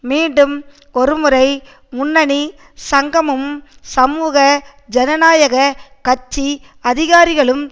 மீண்டும் ஒரு முறை முன்னணி சங்கமும் சமூக ஜனநாயக கட்சி அதிகாரிகளும்